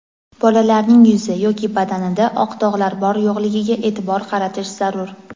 Bolalarning yuzi yoki badanida oq dog‘lar bor-yo‘qligiga e’tibor qaratish zarur.